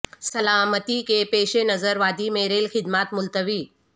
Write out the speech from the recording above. سلامتی کے پیش نظر وادی میں ریل خدمات ملتوی